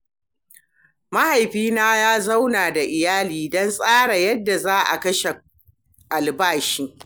Mahaifina ya zauna da iyali don tsara yadda za a kashe albashi.